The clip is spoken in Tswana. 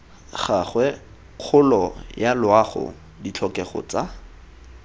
gagwe kgolo yaloago ditlhokego tsa